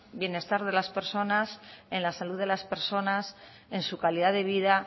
bienestar de las personas en la salud de las personas en su calidad de vida